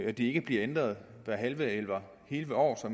at de ikke bliver ændret hvert halve eller hele år så